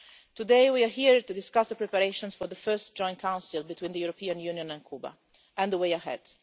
Today, we are here to discuss the preparations for the first joint Council between the European Union and Cuba and the way ahead.